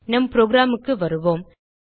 நம் programக்கு வருவோம்